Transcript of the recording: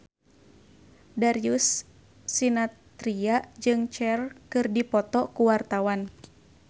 Darius Sinathrya jeung Cher keur dipoto ku wartawan